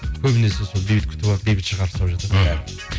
көбінесе сол бейбіт күтіп алады бейбіт шығарып салып жатады бәрін